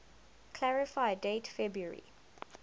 clarify date february